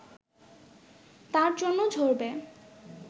তার জন্য ঝরবে